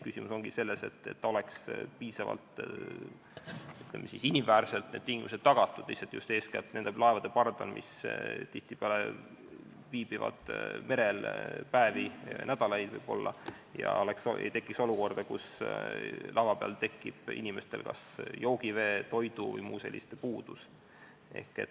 Küsimus ongi selles, et piisavalt inimväärselt oleks need tingimused tagatud, et just eeskätt nende laevade pardal, mis tihtipeale viibivad merel päevi ja võib-olla nädalaid, ei tekiks olukorda, kus inimestel tekib kas joogivee, toidu vms puudus.